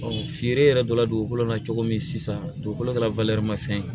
feere yɛrɛ dɔ la dugukolo la cogo min sisan dugukolo kɛla